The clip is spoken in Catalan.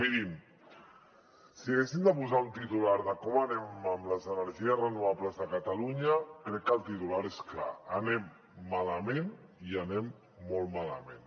mirin si haguéssim de posar un titular de com anem amb les energies renovables de catalunya crec que el titular és clar anem malament i anem molt malament